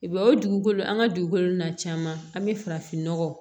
O dugukolo an ka dugukolo na caman an bɛ farafin nɔgɔ